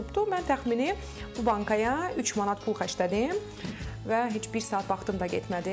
Mən təxmini bu bankaya 3 manat pul xərclədim və heç bir saat vaxtım da getmədi.